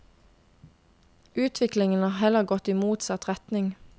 Utviklingen har heller gått i motsatt retning.